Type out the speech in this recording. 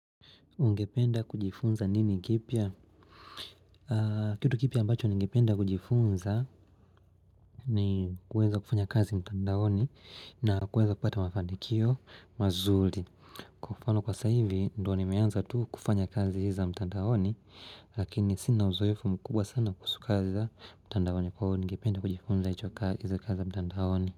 Ungependa kujifunza nini kipya? Kitu kipya ambacho ningependa kujifunza ni kuweza kufanya kazi mtandaoni na kuweza kupata mafanikio mazuri. Kwa mfano, kwa saivi ndo nimeanza tu kufanya kazi hizi za mtandaoni, lakini sina uzoefu mkubwa sana kuhusu kazi za mtandaoni kwa ungependa kujifunza hizo kazi mtandaoni.